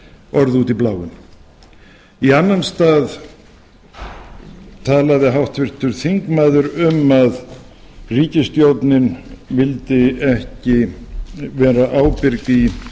orð út í bláinn í annan stað talaði háttvirtur þingmaður um að ríkisstjórnin vildi ekki vera ábyrg í